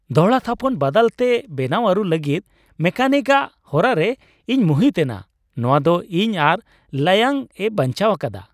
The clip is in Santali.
ᱫᱚᱦᱲᱟᱛᱷᱟᱯᱚᱱ ᱵᱟᱫᱟᱞᱛᱮ ᱵᱮᱱᱟᱣ ᱟᱹᱨᱩ ᱞᱟᱹᱜᱤᱫ ᱢᱮᱠᱟᱱᱤᱠᱼᱟᱜ ᱦᱚᱨᱟ ᱨᱮ ᱤᱧ ᱢᱩᱦᱤᱛ ᱮᱱᱟ ᱾ ᱱᱚᱣᱟ ᱫᱚ ᱤᱧ ᱟᱨ ᱞᱟᱭᱚᱝ ᱮ ᱵᱟᱧᱪᱟᱣ ᱟᱠᱟᱫᱟ ᱾